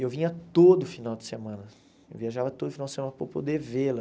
Eu vinha todo final de semana, viajava todo final de semana para poder vê-la.